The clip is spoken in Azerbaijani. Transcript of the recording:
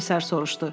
Komissar soruşdu.